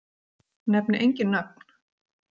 Nefni engin nöfn.